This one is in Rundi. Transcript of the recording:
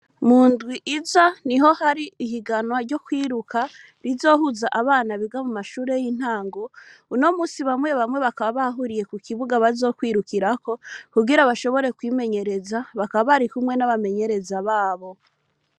Mu ndwi iza ni ho hari ihiganwa ryo kwiruka rizohuza abana biga mu mashure y'intango uno musi bamwe bamwe bakaba bahuriye ku kibuga bazokwirukirako kugira bashobore kwimenyereza bakaba bari kumwe n'abamenyereza babo.